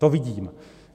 To vidím.